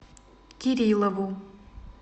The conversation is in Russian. кириллову